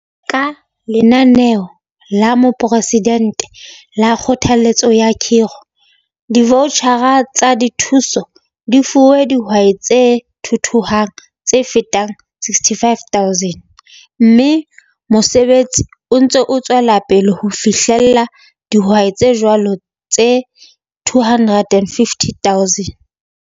Ka Lenaneo la Moporesidente la Kgothalletso ya Khiro, divautjhara tsa dithuso di fuwe dihwai tse thuthuhang tse fetang 65 000, mme mosebetsi o ntse o tswela pele ho fihella dihwai tse jwalo tse 250 000.